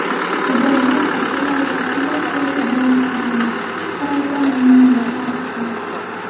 Bobomurod Abdullayev apellyatsiyaga bermasligini, sud qaroridan mamnunligini aytdi.